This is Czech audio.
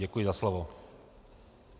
Děkuji za slovo.